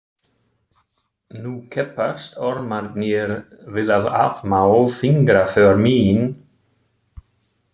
Nú keppast ormarnir við að afmá fingraför mín.